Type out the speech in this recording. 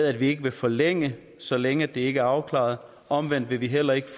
at vi ikke vil forlænge det så længe det ikke er afklaret omvendt vil vi heller ikke